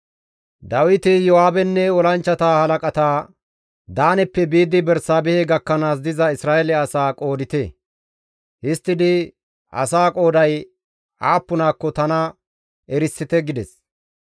Dawiti Iyo7aabenne olanchchata halaqata, «Daaneppe biidi Bersaabehe gakkanaas diza Isra7eele asaa qoodite; histtidi asaa qooday aappunakko tana erisite» gides.